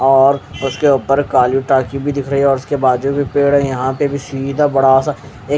और उसके काली टाकी भी दिख रही और उसके बाजुमें पेड़ है यह पे सीधा बडासा एक--